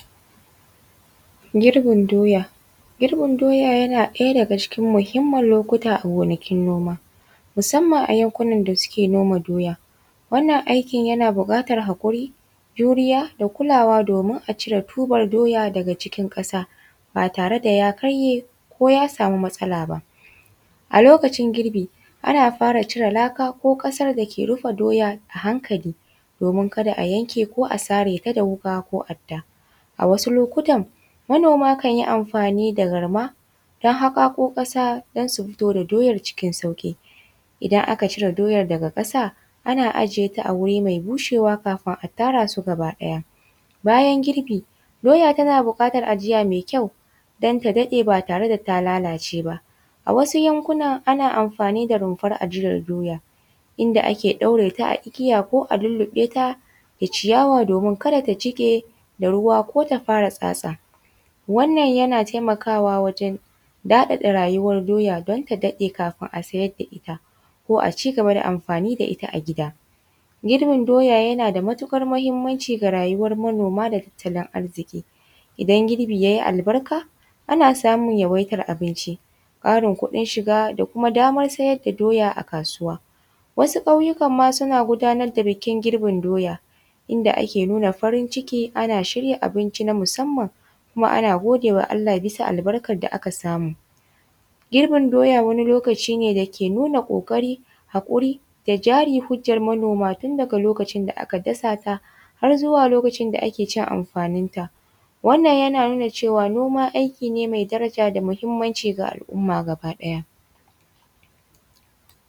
Girbin doya, girbin doya yana ɗaya daga cikin muhimman lokuta a gonakin noma musamman a yankunan da suke noma doya, wannan aikin yana bukatar hakuri, juriya da kulawa domin a cire tuban doya daga cikin kasa ba tare da ya karye ko ya samu matsala ba, a lokacin girbi ana fara cire laka ko kasar da ke rufe doya a hankali domin kada a yanke ka a sare ta da wuka ko adda a wasu lokutan manoma kan yi amfani da garma su hako kasa don su fito da doyar cikin sauki, idan aka cire doyar daga kasa ana ajiya ta a wuri mai bushewa kafin a tara su gaba daya, bayan girbi doya tana bukatar ajiya mai kyau don ta ɗaɗe ba tare da ta lalace ba a wasu yankuna ana amfani da runfar ajiyar doya inda ake ɗaure ta a igiya ko a lullube ta da ciyawa domin kada ta jike da ruwa ko ta fara tsatsa wannan yana taimakawa wajen ɗaɗata rayuwar doya don ta daɗe kafin a siyar da ita ko a cigaba da amfani da ita a gida, girbin doya yana da matukar muhimmanci ga rayuwar manoma da tattalin arziki idan girbi yayi albarka ana samun yawaitar abinci, Karin kuɗin shiga da kuma damar siyar da doya a kasuwa, wasu ƙauyuka suna gudanar da bikin girbin doya ida ake nuna farin ciki ana shirya abinci na musamman kuma ana gode wa Allah bias albarkan da aka samu, girbin doya wani lokaci ne da ke nuna hakuri, kokari, da jiri hujjan manoma tun daka lokacin da aka dasa ta har zuwa lokacin da ake cin amfanin ta, wannan yana nuna cewa noma aiki ne mai daraja da muhimmanci ga al’umma gaba ɗaya.